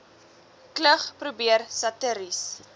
klug probeer satiries